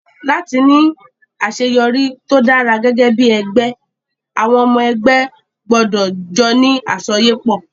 Láti ní àṣeyọrí tó dára gẹ́gẹ́ bí ẹgbẹ́, àwọn ọmọ ẹgbẹ́ gbọdọ̀ jọ ní àsọyépọ̀